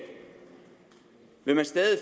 vil man stadig